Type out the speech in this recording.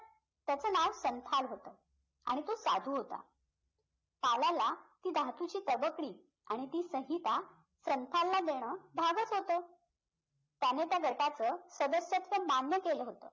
त्याचं नाव संथाल होतं आणि तो साधू होता कालाला ती धातूची तबकडी आणि ती संहिता संथालला देणं भागच होतं त्याने त्या गटाचं सदस्यत्व मान्य केलं होतं